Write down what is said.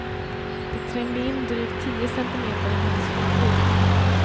Det trängde in drygt tio centimeter i hennes huvud.